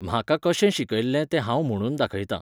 म्हाका कशें शिकयल्लें तें हांव म्हणून दाखयतां.